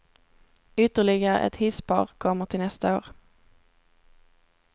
Ytterligare ett hisspar kommer till nästa år.